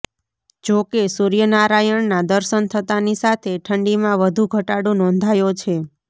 જો કે સૂર્યનારાયણના દર્શન થતાની સાથે ઠંડીમાં વધુ ઘટાડો નોંધાયો છે